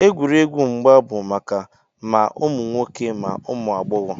Egwuregwu mgba bụ maka ma ụmụ nwoke ma ụmụ agbọghọ